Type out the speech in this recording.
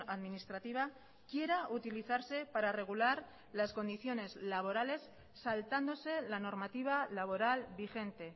administrativa quiera utilizarse para regular las condiciones laborales saltándose la normativa laboral vigente